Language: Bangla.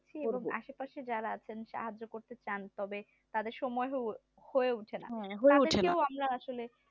আশে পাশে যারা আছেন সাহায্য করতে চান তবে তাদের সময় হয়ে ওঠে না তাদেরকেও আমরা আসলে